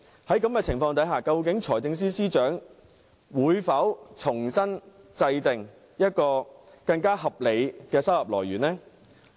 在這種情況下，究竟財政司司長會否重新制訂更合理的收入來源？